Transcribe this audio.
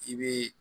I bɛ